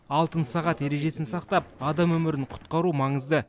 алтын сағат ережесін сақтап адам өмірін құтқару маңызды